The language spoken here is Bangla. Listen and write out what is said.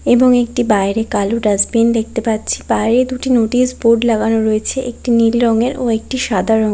এবং একটি বাইরে কালো ডাস্টবিন দেখতে পাচ্ছি। বাইরে দুটি নোটিশ বোর্ড লাগানো রয়েছে একটি নীল রঙের ও একটি সাদা রঙের ।